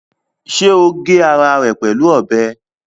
Ṣé o gé ara rẹ̀ pẹ̀lú ọbẹ̀?